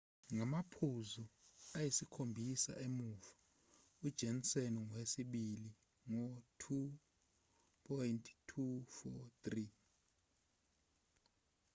ngamaphuzu ayisikhombisa emuva ujohnson ungowesibili ngo-2,243